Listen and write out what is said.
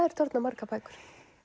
þetta orðnar margar bækur